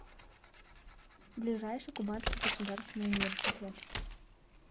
ближайший кубанский государственный университет